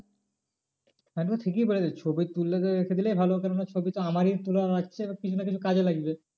একদম ঠিকই বলেছিস ছবি তুললে তোর রেখে দিলেই ভালো কেন না ছবি তো আমারই তোলা থাকছে কিছু না কিছু কাজে লাগবে।